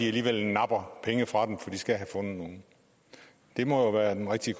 alligevel napper penge fra dem fordi man skal have fundet nogle det må være den rigtige